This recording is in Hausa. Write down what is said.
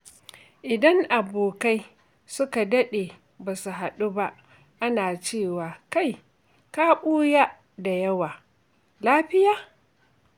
Idan abokai suka daɗe basu haɗu ba, ana cewa “Kai! Ka ɓuya da yawa, lafiya?”